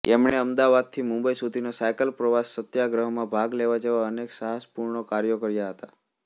એમણે અમદાવાદથી મુંબઈ સુધીનો સાયકલ પ્રવાસ સત્યાગ્રહમાં ભાગલેવા જેવા અનેક સાહસપૂર્ણ કાર્યો કર્યા હતાં